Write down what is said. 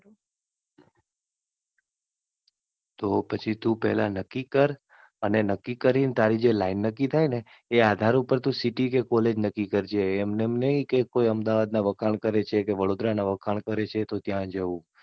તો પહેલા પછી તું પહેલા નક્કી કર. નક્કી કરી ને તારી લાઈન નક્કી થાય ને એ આધાર ઉપર તું City કે Collage નક્કી કરજે. એમ નેમ નહી કે કોઈ અમદાવાદ ના વખાણ કરે છે કે વડોદરા ના વખાણ કરે છે તો ત્યાં જવું.